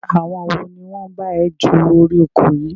Àwọn wo ni wọn bá ẹ ju orí oko yìí?